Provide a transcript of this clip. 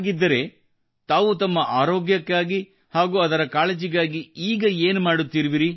ಹಾಗಿದ್ದರೆ ತಾವು ತಮ್ಮ ಆರೋಗ್ಯಕ್ಕಾಗಿ ಹಾಗೂ ಅದರ ಕಾಳಜಿಗಾಗಿ ಈಗ ಏನು ಮಾಡುತ್ತಿರುವಿರಿ